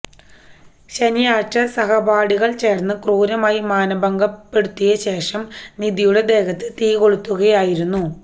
ശനിയാഴ്ച സഹപാഠികള് ചേര്ന്ന് ക്രൂരമായി മാനഭംഗപ്പെടുത്തിയ ശേഷം നിധിയുടെ ദേഹത്ത് തീകൊളുത്തുകയായിരുന്നു